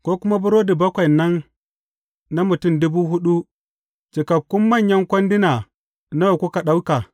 Ko kuma burodi bakwai nan na mutum dubu huɗu, cikakku manyan kwanduna nawa kuka ɗauka?